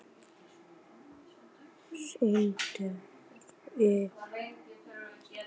Sindri Sindrason: Hvernig sérðu fyrir þér restina af árinu?